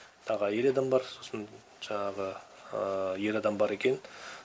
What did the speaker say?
тағы әйел адам бар сосын жаңағы ер адам бар екенін